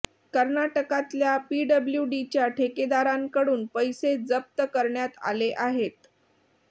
कर्नाटकातल्या पीडल्ब्यूडीच्या ठेकेदारांकडून पैसे जप्त करण्यात आले आहेत